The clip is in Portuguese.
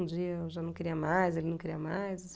Um dia eu já não queria mais, ele não queria mais.